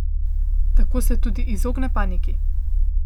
Tako se tudi izogne paniki.